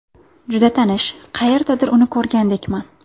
Juda tanish, qayerdadir uni ko‘rgandekman.